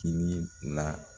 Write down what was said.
Tinii la